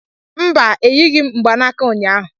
Mba, eyighị m mgbanaka ụnyahụ